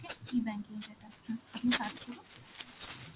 okay E-banking যেতা. হম আপনি search করুন.